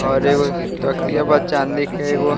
और एगो तकिया बा चाँदी के एगो --